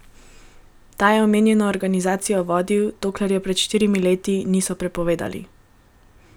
Ta je omenjeno organizacijo vodil, dokler je pred štirimi leti niso prepovedali.